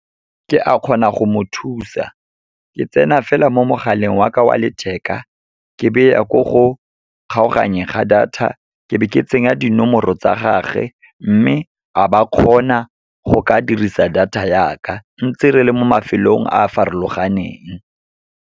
Ke a kgona go mo thusa. Ke tsena fela mo mogaleng waka wa letheka, ke be ya ko go kgaoganyeng ga data, ke be ke tsenya dinomoro tsa gagwe. Mme, a ba kgona go ka dirisa data yaka, ntse re le mo mafelong a a farologaneng.